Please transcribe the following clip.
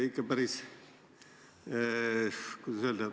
Hea Aadu!